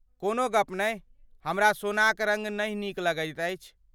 कोनो गप नहि, हमरा सोनाक रङ्ग नहि नीक लागैत अछि।